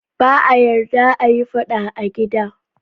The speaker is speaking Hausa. Ba a yarda a yi fada a gida.